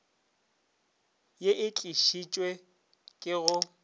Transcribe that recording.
ye e tlišitšwe ke go